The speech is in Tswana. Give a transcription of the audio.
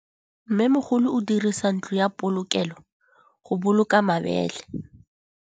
Mmêmogolô o dirisa ntlo ya polokêlô, go boloka mabele.